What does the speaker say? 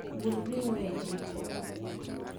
Bul ring'o e jiko